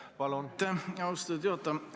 Aitäh, austatud juhataja!